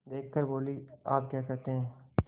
देख कर बोलीआप क्या कहते हैं